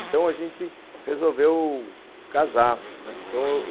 Então, a gente resolveu casar, né.